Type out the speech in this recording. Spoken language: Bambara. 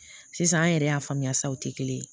Sisan an yɛrɛ y'a faamuya sa o te kelen ye